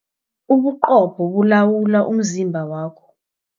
Ubuqopho bulawula umzimba wakho.